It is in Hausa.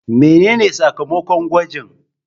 Mene ne sakamakon gwajin?